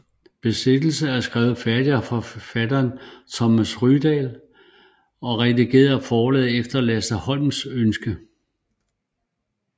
Besættelse er skrevet færdig af forfatter Thomas Rydahl og redigeret af forlaget efter Lasse Holms ønske